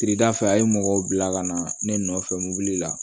Kiridafɛ a ye mɔgɔw bila ka na ne nɔfɛ mobili la